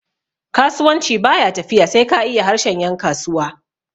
kasuwanci ba ya tafiya sai ka iya harshen yankasuwa